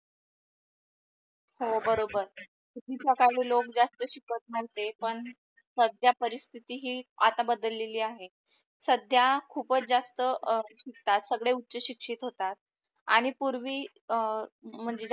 हो बरोबर. पूर्वीच्या काळी लोक जास्त शिकत नोव्हते पण सध्या परिस्थिति ही आता बदलेली आहे. सध्या खूपच जास्त अं शिकतात सगडे उच्चशिकसित होतात आणि पूर्वी अं म्हणजे